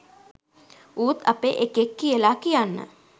ඌත් අපේ එකෙක් කියලා කියන්න